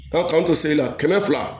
Ka k'an to seli la kɛmɛ fila